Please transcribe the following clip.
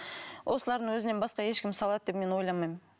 осылардың өзінен басқа ешкім салады деп мен ойламаймын